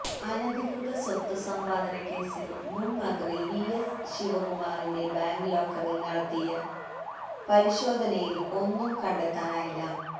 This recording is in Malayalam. അനധികൃത സ്വത്ത് സമ്പാദനക്കേസിൽ മുന് മന്ത്രി വിഎസ് ശിവകുമാറിന്റെ ബാങ്ക് ലോക്കറില് നടത്തിയ പരിശോധനയില് ഒന്നും കണ്ടെത്താനായില്ല